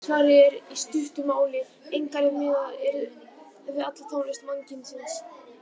Svarið er í stuttu máli: Engar- ef miðað er við alla tónlist mannkynsins.